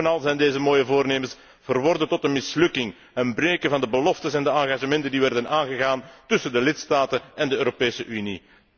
En bovenal zijn deze mooie voornemens verworden tot een mislukking en een breken van de beloften en engagementen die werden aangegaan tussen de lidstaten en de Europese Unie.